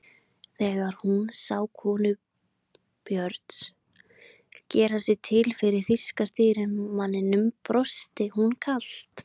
Þegar hún sá konu Björns gera sig til fyrir þýska stýrimanninum brosti hún kalt.